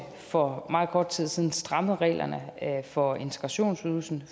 for meget kort tid siden strammet reglerne for integrationsydelsen